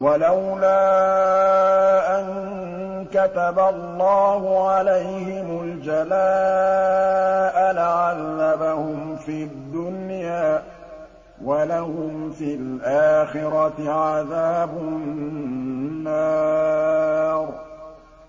وَلَوْلَا أَن كَتَبَ اللَّهُ عَلَيْهِمُ الْجَلَاءَ لَعَذَّبَهُمْ فِي الدُّنْيَا ۖ وَلَهُمْ فِي الْآخِرَةِ عَذَابُ النَّارِ